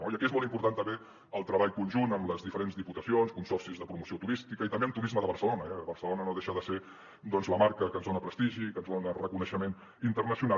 i aquí és molt important també el treball conjunt amb les diferents diputacions consorcis de promoció turística i també amb turisme de barcelona eh barcelona no deixa de ser la marca que ens dona prestigi que ens dona reconeixement internacional